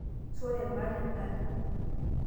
sore, maata endaa